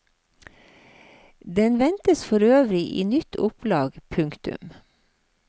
Den ventes for øvrig i nytt opplag. punktum